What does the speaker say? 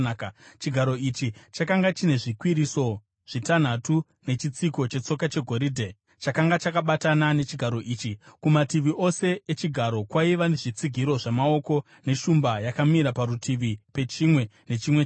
Chigaro ichi chakanga chine zvikwiriso zvitanhatu nechitsiko chetsoka chegoridhe chakanga chakabatana nechigaro ichi. Kumativi ose echigaro kwaiva nezvitsigiro zvamaoko, neshumba yakamira parutivi pechimwe nechimwe chazvo.